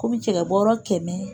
Kɔmi cɛkɛbɔeɔ kɛmɛ